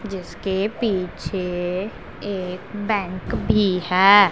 जिसके पीछे एक बैंक भी है।